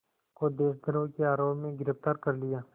को देशद्रोह के आरोप में गिरफ़्तार कर लिया